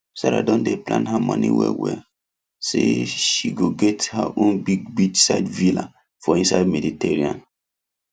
sarah don dey plan her money well well say say she go get her own big beachside villa for inside mediterranean